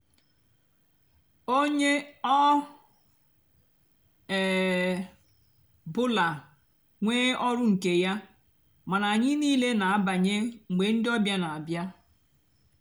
ónyé ọ um bụlà nwée ọrụ nkè yá mánà ányị nííle nà-àbanye mgbe ndị ọbíá nà-àbịa.